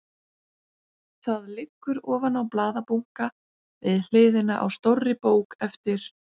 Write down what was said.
Það liggur ofan á blaðabunka við hliðina á stórri bók eftir